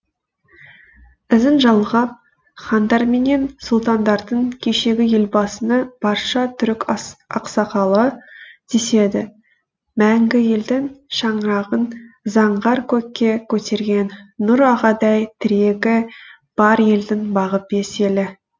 ізін жалғап хандарменен сұлтандардың кешегі елбасыны барша түрік ақсақалы деседі мәңгі елдің шаңырағын заңғар көкке көтерген нұр ағадай тірегі бар елдің бағы бес елі